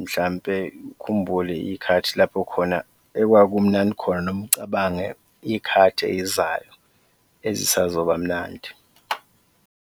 mhlawumbe ukhumbule iy'khathi lapho khona ekwakumnandi khona noma ucabange iy'khathi ey'zayo ezisazoba mnandi.